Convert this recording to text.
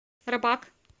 рабак